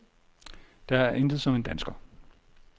Der er intet som en dansker.